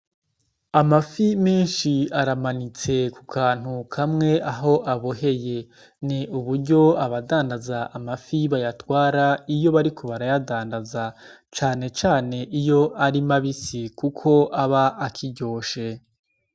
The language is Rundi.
Amafi menshi aramanitse ku kantu kamwe aho aboheye ni uburyo abadandaza amafi bayatwara iyo barikubarayadandaza canecane iyo arimabisi, kuko aba akiryoshe.